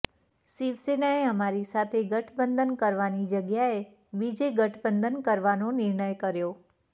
શિવસેનાએ અમારી સાથે ગઠબંધન કરવાની જગ્યાએ બીજે ગઠબંધન કરવાનો નિર્ણય કર્યો